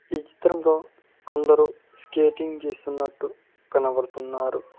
ఈ చిత్రంలో కొందరు స్కేటింగ్ చేస్తున్నట్టు కనబడుతున్నారు.